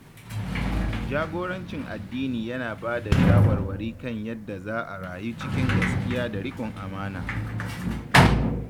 Jagorancin addini yana ba da shawarwari kan yadda za a rayu cikin gaskiya da riƙon amana.